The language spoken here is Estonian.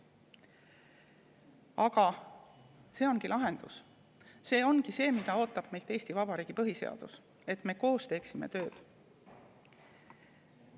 Aga see ongi lahendus, see ongi see, mida ootab meilt Eesti Vabariigi põhiseadus: et me koos teeksime tööd.